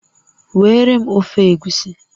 Weere m ofe Egusi